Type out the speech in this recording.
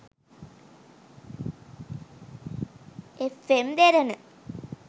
fm derana